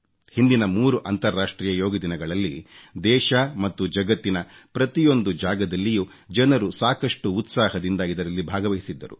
ಹಿಂದಿನ ಮೂರು ಅಂತರ್ರಾಷ್ಟ್ರೀಯ ಯೋಗ ದಿನಗಳಲ್ಲಿ ದೇಶ ಮತ್ತು ಜಗತ್ತಿನ ಪ್ರತಿಯೊಂದು ಜಾಗದಲ್ಲಿಯೂ ಜನರು ಸಾಕಷ್ಟು ಉತ್ಸಾಹದಿಂದ ಇದರಲ್ಲಿ ಭಾಗವಹಿಸಿದ್ದರು